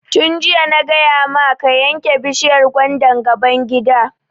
Tun jiya na gaya maka ka yanke bishiyar gwandan gaban gida!